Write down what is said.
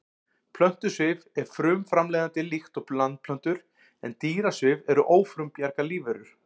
Plöntusvif er frumframleiðandi líkt og landplöntur en dýrasvif eru ófrumbjarga lífverur.